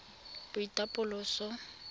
boitapoloso